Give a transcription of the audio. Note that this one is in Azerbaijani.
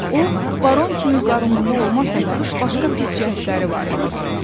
O, baron kimi qarınqulu olmasa da, başqa pis cəhətləri var idi.